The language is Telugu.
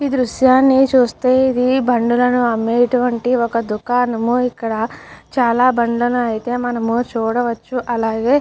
దృశ్యాన్ని చూస్తే ఇది బండిలను అమ్మేటువంటి ఒక దుకాణం. ఇక్కడ చాలా బండనా అయితే మనము చూడవచ్చు. అలాగే --